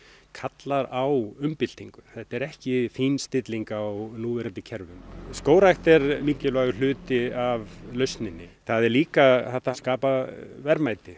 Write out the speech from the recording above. kallar á umbyltingu þetta er ekki fínstilling á núverandi kerfum skógrækt er mikilvægur hluti af lausninni það er líka hægt að skapa verðmæti